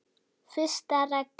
Fyrsta reglan.